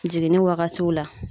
Jiginni wagatiw la.